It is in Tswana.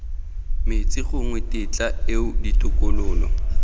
metsi gongwe tetla eo ditokololo